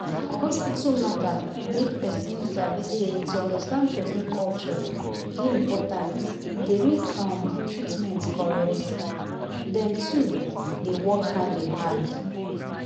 for hospital matter make person sabi say to understand person culture dey important e dey make um treatment correct. dem two dey work hand in hand